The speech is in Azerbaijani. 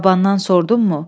Babandan sordunmu?